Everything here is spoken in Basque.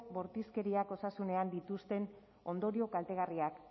bortizkeriak osasunean dituzten ondorio kaltegarriak